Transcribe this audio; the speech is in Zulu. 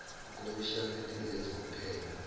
ukhomishani engenza uphenyo